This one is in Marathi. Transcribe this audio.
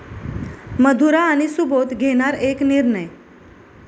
मधुरा आणि सुबोध घेणार 'एक निर्णय'